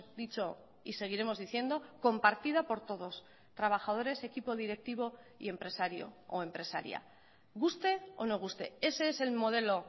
dicho y seguiremos diciendo compartida por todos trabajadores equipo directivo y empresario o empresaria guste o no guste ese es el modelo